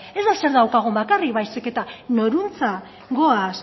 ez da zer daukagun bakarrik baizik eta norantz goaz